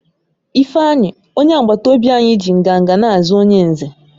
Ifeanyi, onye agbata obi anyi ji nganga na-aza onye Nze